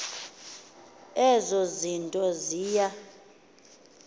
ezo zinto ziya